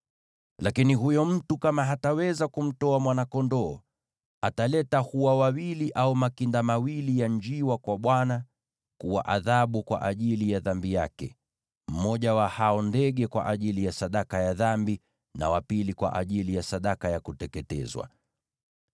“ ‘Lakini huyo mtu kama hataweza kumtoa mwana-kondoo, ataleta hua wawili au makinda mawili ya njiwa kwa Bwana kuwa adhabu kwa ajili ya dhambi yake, mmoja wa hao ndege kwa ajili ya sadaka ya dhambi, na wa pili kwa ajili ya sadaka ya kuteketezwa.